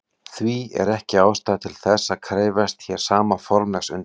Því er ekki ástæða til þess að krefjast hér sama formlegs undirbúnings.